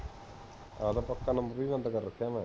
ਆਪਦਾ ਪੱਕਾ ਨੰਬਰ ਵੀ ਬੰਦ ਕਰ ਰੱਖਿਆ ਮੈਂ